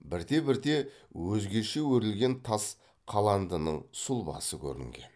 бірте бірте өзгеше өрілген тас қаландының сұлбасы көрінген